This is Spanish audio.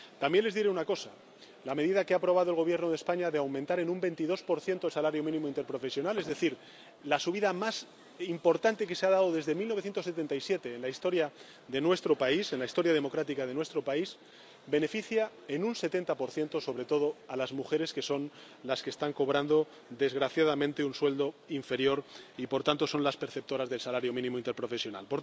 También les diré una cosa la medida que ha aprobado el Gobierno de España de aumentar en un 22 el salario mínimo interprofesional, es decir, la subida más importante que se ha dado desde 1977 en la historia de nuestro país, en la historia democrática de nuestro país, beneficia, en un 70 sobre todo a las mujeres, que son las que están cobrando, desgraciadamente, un sueldo inferior y, por tanto, son las perceptoras del salario mínimo interprofesional.